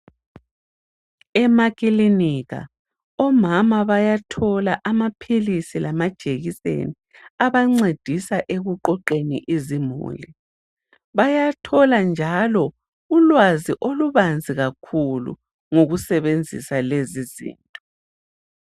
Emakilinika omama bayathola amaphilisi lamajekiseni abancedisa ekuqoqeni izimuli. Bayathola njalo ulwazi olubanzi kakhulu ngokusebenzisa lezizinto.